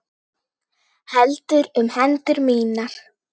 Heldur um hendur mínar.